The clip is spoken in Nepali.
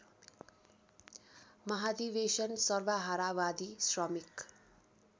महाधिवेशन सर्वहारावादी श्रमिक